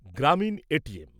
Gramin ATM